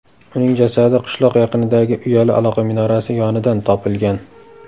Uning jasadi qishloq yaqinidagi uyali aloqa minorasi yonidan topilgan.